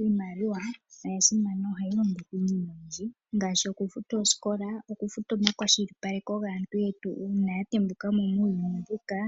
Iimaliwa oya simana. Ohayi longithwa iinima oyindji ngaashi okufuta oosikola, okufuta omakwashilipaleko gaantu yetu uuna ya tembuka mo muuyuni mbuka